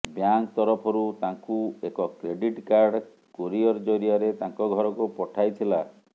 bank ତରଫରୁ ତାଙ୍କୁ ଏକ କ୍ରେଟିଟ କାର୍ଡ଼ କୋରିଅର ଜରିଆରେ ତାଙ୍କ ଘରକୁ ପଠାଇଥିଲା